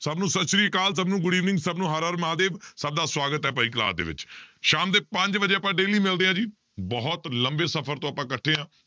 ਸਭ ਨੂੰ ਸਤਿ ਸ੍ਰੀ ਅਕਾਲ ਸਭ ਨੂੰ good evening ਸਭ ਨੂੰ ਹਰਿ ਹਰਿ ਮਹਾਂਦੇਵ, ਸਭ ਦਾ ਸਵਾਗਤ ਹੈ ਭਾਈ class ਦੇ ਵਿੱਚ ਸ਼ਾਮ ਦੇ ਪੰਜ ਵਜੇ ਆਪਾਂ daily ਮਿਲਦੇ ਹਾਂ ਜੀ ਬਹੁਤ ਲੰਬੇ ਸਫ਼ਰ ਤੋਂ ਆਪਾਂ ਇਕੱਠੇ ਹਾਂ